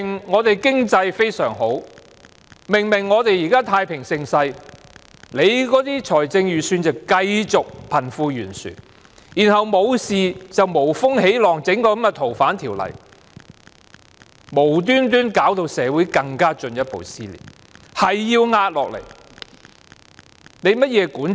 我們的經濟狀況明明非常良好，明明現在是太平盛世，但預算案卻繼續無視貧富懸殊問題，然後就是無風起浪，提議修訂《逃犯條例》，無緣無故把社會弄得進一步撕裂，老是要壓下來，這是甚麼管治？